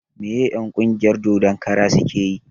Me en ƙungiyar dodon kara suke yi?